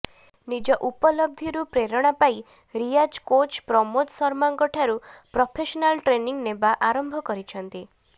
ନିଜ ଉପଲବ୍ଧିରୁ ପ୍ରେରଣା ପାଇ ରିୟାଜ୍ କୋଚ୍ ପ୍ରମୋଦ ଶର୍ମାଙ୍କଠାରୁ ପ୍ରଫେସନାଲ୍ ଟ୍ରେନିଂ ନେବା ଆରମ୍ଭ କରିଛନ୍ତି